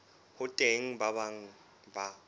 ho teng ba bang ba